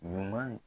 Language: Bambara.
Ɲuman